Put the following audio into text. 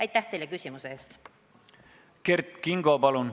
Kert Kingo, palun!